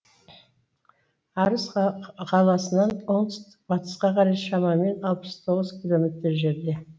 арыс қаласынан оңтүстік батысқа қарай шамамен алпыс тоғыз километрдей жерде